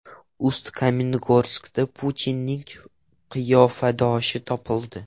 Ust-Kamenogorskda Putinning qiyofadoshi topildi.